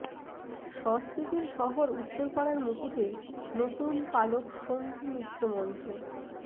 সংস্কৃতির শহর উত্তরপাড়ার মুকুটে নতুন পালক শম্ভু মিত্র মঞ্চ